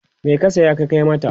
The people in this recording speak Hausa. me ka saya ka Kai mata?